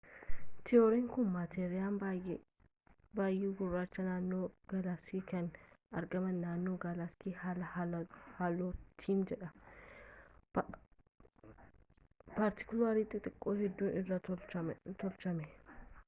tiyooriin kun maateriin baay'ee gurraachi naannoo gaalaksii kan argaman naannoo gaalaksii haala haalootiini jedha paartikiloota xixiqqoo hedduu irraas tolchame